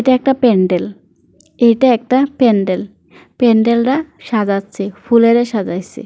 এটা একটা প্যান্ডেল এটা একটা প্যান্ডেল প্যান্ডেলরা সাজাচ্ছে ফুল এরা সাজাইছে।